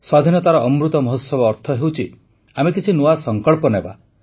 ସ୍ୱାଧୀନତାର ଅମୃତ ମହୋତ୍ସବ ଅର୍ଥ ହେଉଛି ଆମେ କିଛି ନୂଆ ସଂକଳ୍ପ ନେବା